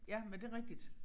Ja men det rigtigt